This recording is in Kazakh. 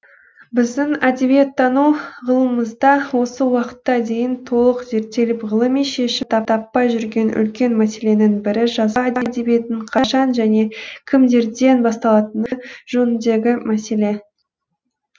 біздің әдебиеттану ғылымымызда осы уақытқа дейін толық зерттеліп ғылыми шешімін таппай жүрген үлкен мәселенің бірі жазба әдебиетінің қашан және кімдерден басталатыны жөніндегі мәселе